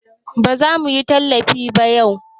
Ba za muyi talifi yau ba